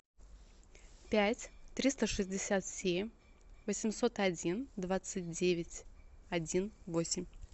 пять триста шестьдесят семь восемьсот один двадцать девять один восемь